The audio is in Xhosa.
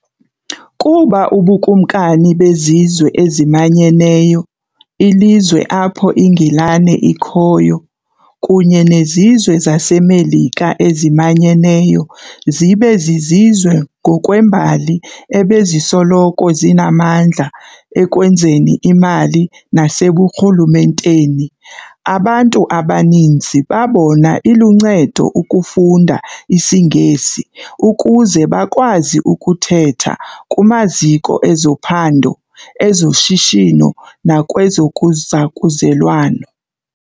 Kuba ubuKumkani bezizwe eziManyeneyo, ilizwe apho iNgilane ikhoyo, kunye nezizwe zaseMelika ezimanyeneyo zibe zizizwe ngokwembali ebezisoloko zinamandla ekwenzeni imali naseburhulumenteni, abantu abaninzi babona iluncedo ukufunda isiNgesi ukuze bakwazi ukuthetha kumaziko ezophando, ezoshishino, nakwezokuzakuzelwano.